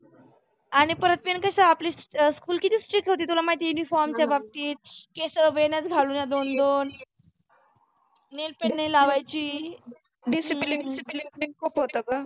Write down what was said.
आणि परत ते कसं आपले school किती strick होती uniform च्या बाबतीत. केसं वेण्याच घालून या दोन दोन nail paint नाही लावायची. disciplene